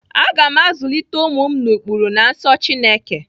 Aga m azulite ụmụ m n'ụkpụrụ na nsọ Chineke.